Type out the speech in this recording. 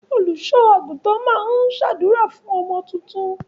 Olùṣọ àgùntàn máa n ṣ'àdúrà fún ọmọ tuntun.